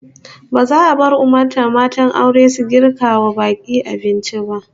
Ba za a bar umurtan matan aure su girka wa bak'i abinci ba